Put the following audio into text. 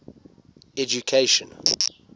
education